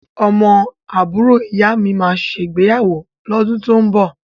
Ọmọ àbúrò ìyámi máa ṣègbéyàwó lọ́dún tó ń bọ̀.